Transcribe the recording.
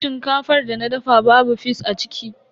Shinkafar da na dafa babu fis a ciki.